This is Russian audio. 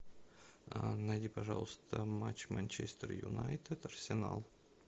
найди пожалуйста матч манчестер юнайтед арсенал